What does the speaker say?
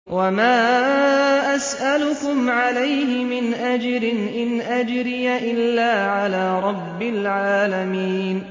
وَمَا أَسْأَلُكُمْ عَلَيْهِ مِنْ أَجْرٍ ۖ إِنْ أَجْرِيَ إِلَّا عَلَىٰ رَبِّ الْعَالَمِينَ